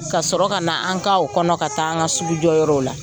Ka sɔrɔ ka na an ka o kɔnɔ ka taa an ka sugujɔ yɔrɔw la.